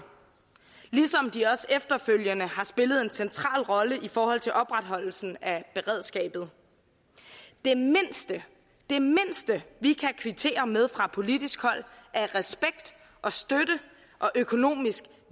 ligesom de også efterfølgende har spillet en central rolle i forhold til opretholdelsen af beredskabet det mindste det mindste vi kan kvittere med fra politisk hold er respekt og støtte og økonomisk